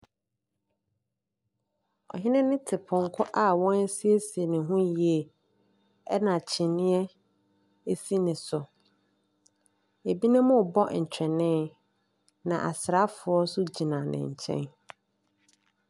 Ɔhene no te pɔnkɔ a wɔasiesie ne ho yie, na kyiniiɛ si ne so. Ebinom rebɔ ntwene, na asraafoɔ nso gyina ne nkyɛn.